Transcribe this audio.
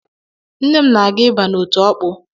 Nne m na-aga ịba n’otu Ọkpụ